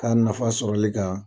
K'a nafa sɔrɔli kan